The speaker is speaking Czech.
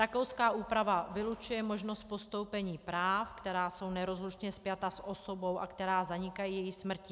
Rakouská úprava vylučuje možnost postoupení práv, která jsou nerozlučně spjata s osobou a která zanikají její smrtí.